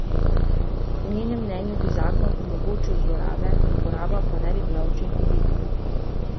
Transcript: Po njenem mnenju bi zakon omogočil zlorabe, uporaba pa ne bi bila učinkovita.